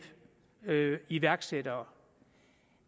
iværksættere